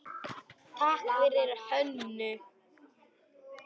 Takk fyrir Hönnu.